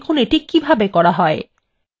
দেখুন কিভাবে এটি করা হয়